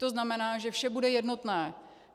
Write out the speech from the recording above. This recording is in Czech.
To znamená, že vše bude jednotné.